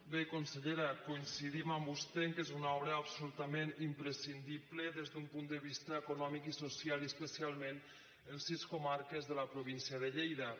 bé consellera coincidim amb vostè que és una obra absolutament imprescindible des d’un punt de vista econòmic i social i especialment en sis comarques de la província de lleida